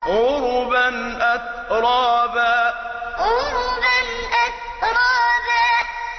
عُرُبًا أَتْرَابًا عُرُبًا أَتْرَابًا